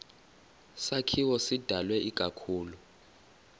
sakhiwo sidalwe ikakhulu